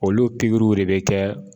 Olu pikiriw de be kɛ